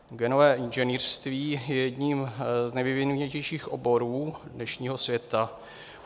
Genové inženýrství je jedním z nejvyvinutějších oborů dnešního světa.